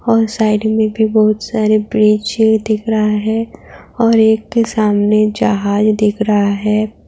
और साइड में भी बहुत सारे ब्रिज दिख रहा है और एक के सामने जहाज दिख रहा है।